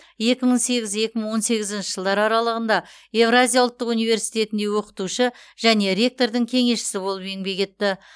екі мың сегіз екі мың он сегізінші жылдар аралығында евразия ұлттық университетінде оқытушы және ректордың кеңесшісі болып еңбек етті